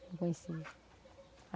Não conhecia.